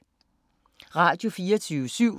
Radio24syv